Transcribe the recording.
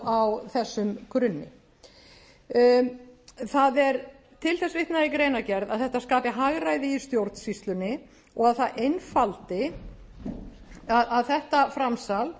á þessum grunni það er til þess vitnað í greinargerð að þetta skapi hagræði í stjórnsýslunni og þetta framsal